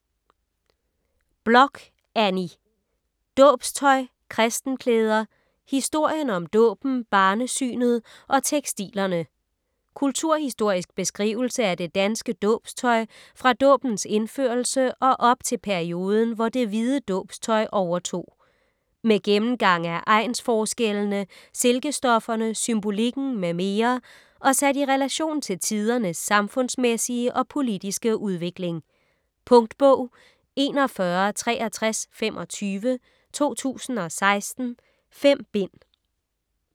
Bloch, Anni: Dåbstøj, kristenklæder: historien om dåben, barnesynet og tekstilerne Kulturhistorisk beskrivelse af det danske dåbstøj fra dåbens indførelse og op til perioden, hvor det hvide dåbstøj overtog. Med gennemgang af egnsforskellene, silkestofferne, symbolikken m.m., og sat i relation til tidernes samfundsmæssige og politiske udvikling. Punktbog 416325 2016. 5 bind.